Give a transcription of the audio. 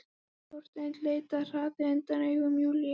Og Þorsteinn leit með hraði undan augum Júlíu.